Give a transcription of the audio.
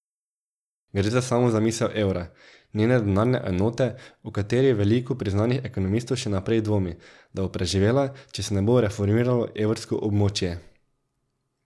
Gre za samo zamisel evra, njene denarne enote, o kateri veliko priznanih ekonomistov še naprej dvomi, da bo preživela, če se ne bo reformiralo evrsko območje.